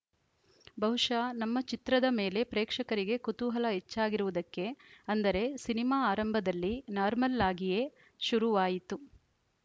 ಬಹುಶಃ ನಮ್ಮ ಚಿತ್ರದ ಮೇಲೆ ಪ್ರೇಕ್ಷಕರಿಗೆ ಕುತೂಹಲ ಹೆಚ್ಚಾಗಿರುವುದಕ್ಕೆ ಅಂದರೆ ಸಿನಿಮಾ ಆರಂಭದಲ್ಲಿ ನಾರ್ಮಲ್ಲಾಗಿಯೇ ಶುರುವಾಯಿತು